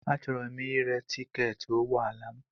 Achọrọ m ire tiketi ụgbọ ala m.